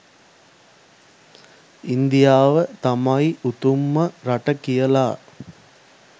ඉන්දියාව තමයි උතුම්ම රට කියලා.